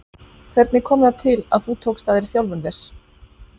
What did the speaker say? Hvernig kom það til að þú tókst að þér þjálfun þess?